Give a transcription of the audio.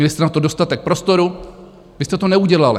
Měli jste na to dostatek prostoru, vy jste to neudělali.